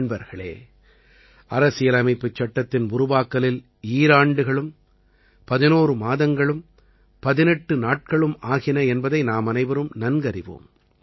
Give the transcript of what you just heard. நண்பர்களே அரசியலமைப்புச்சட்டத்தின் உருவாக்கலில் ஈராண்டுகளும் 11 மாதங்களும் 18 நாட்களும் ஆகின என்பதை நாமனைவரும் நன்கறிவோம்